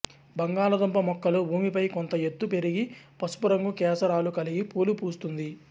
బంగాళాదుంప మొక్కలు భూమిపై కొంత ఎత్తుకు పెరిగి పసుపు రంగు కేసరాలు కలిగిన పూలు పూస్తుంది